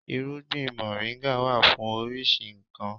Irúgbìn moringa wà fún oríṣi nkan.